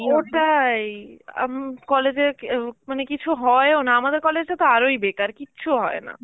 ওটাই, আ উম college এ অ্যাঁ মানে কিছু হয়ও না, আমাদের college তা তো আরোই বেকার কিছু হয় না.